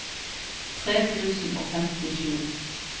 tre tusen og femtisju